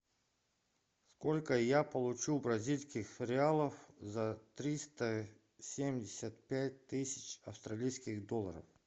сколько я получу бразильских реалов за триста семьдесят пять тысяч австралийских долларов